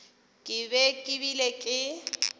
ke be ke bile ke